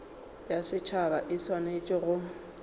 ya setšhaba e swanetše go